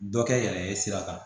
Dɔ kɛ yɛrɛ ye sira kan